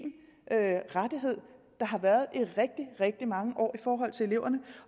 rettighed der har været i rigtig rigtig mange år i forhold til eleverne